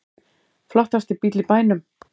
Flottasti bíll í bænum